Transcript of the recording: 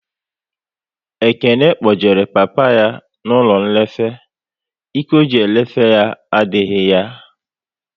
Ekene kpojere papa ya n'ụlọ nlefe, Ike ọ ji elefe ya adịghị ya